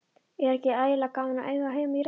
Er ekki ægilega gaman að eiga heima í Reykjavík?